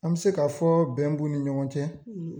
An bi se ka fɔ bɛn b'u ni ɲɔgɔn cɛ